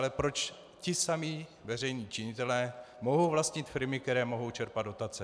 Ale proč či samí veřejní činitelé mohou vlastnit firmy, které mohou čerpat dotace?